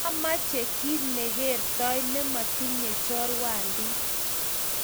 mameche kiit nekeertoi ne motinyei chorwandi.